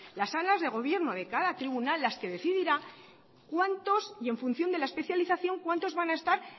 las salas de gobierno de cada tribunal las que decidirá cuántos y en función de la especialización cuántos van a estar